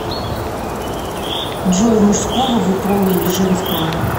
джой мужского вы пола или женского